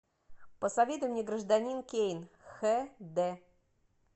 посоветуй мне гражданин кейн хэ дэ